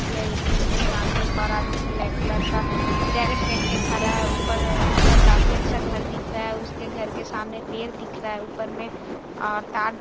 SBI. ATM. के सामने एक और आदमी ब्लैक कलर का जैकेट पहिन कर खड़ा है ऊपर-ऊपर काफी अच्छा घर दिख रहा है उसके घर के सामने पेड़ दिख रहा है ऊपर मे और तार --